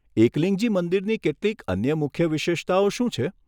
એકલિંગજી મંદિરની કેટલીક અન્ય મુખ્ય વિશેષતાઓ શું છે?